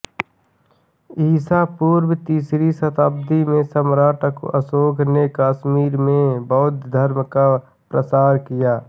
ईसा पूर्व तीसरी शताब्दी में सम्राट अशोक ने कश्मीर में बौद्ध धर्म का प्रसार किया